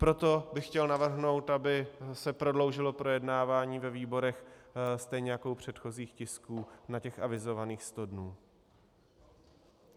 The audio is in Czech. Proto bych chtěl navrhnout, aby se prodloužilo projednávání ve výborech, stejně jako u předchozích tisků, na těch avizovaných sto dnů.